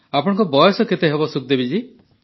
ଆପଣଙ୍କ ବୟସ କେତେ ସୁଖଦେବୀ ଜୀ